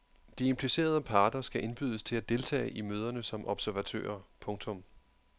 De implicerede parter skal indbydes til at deltage i møderne som observatører. punktum